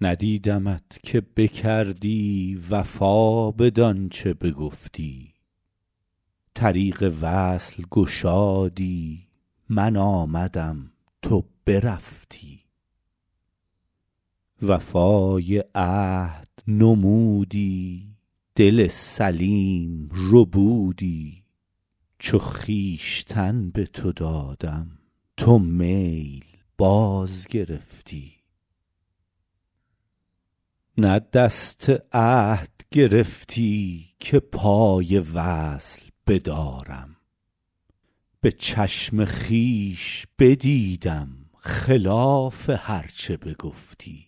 ندیدمت که بکردی وفا بدان چه بگفتی طریق وصل گشادی من آمدم تو برفتی وفای عهد نمودی دل سلیم ربودی چو خویشتن به تو دادم تو میل باز گرفتی نه دست عهد گرفتی که پای وصل بدارم به چشم خویش بدیدم خلاف هر چه بگفتی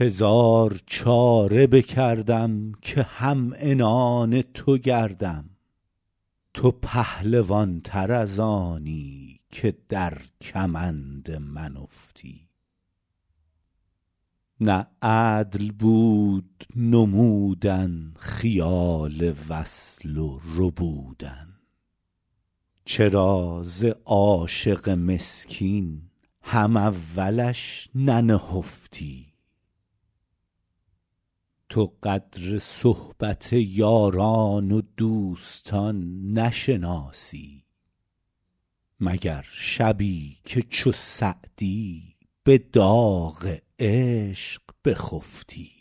هزار چاره بکردم که هم عنان تو گردم تو پهلوان تر از آنی که در کمند من افتی نه عدل بود نمودن خیال وصل و ربودن چرا ز عاشق مسکین هم اولش ننهفتی تو قدر صحبت یاران و دوستان نشناسی مگر شبی که چو سعدی به داغ عشق بخفتی